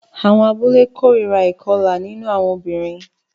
Àwọn abúlé kórìíra ìkọlà nínú àwọn obìnrin